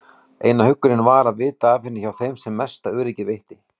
Eina huggunin var að vita af henni hjá þeim sem mesta öryggið veitti.